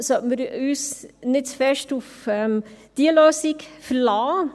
Deshalb sollten wir uns nicht zu stark auf diese Lösung verlassen.